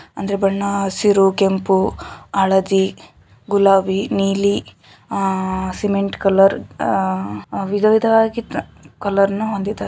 ಅಂದ್ರೆ ಬಣ್ಣ ಹಸಿರು ಕೆಂಪು ಹಳದಿ ಗುಲಾಬಿ ನೀಲಿ ಸಿಮೆಂಟ್ ಕಲರ್ ವಿಧ ವಿಧವಾಗಿ ಕಲರನ್ನ ಹೊಂದಿದೆ.